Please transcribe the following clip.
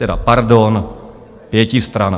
Teda pardon, pětistrana.